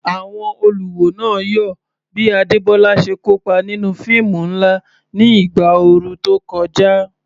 Àwọn olùwò náà yọ̀ bí Adebola ṣe kópa nínú fíìmù ńlá ní ìgbà ooru tó kọjá.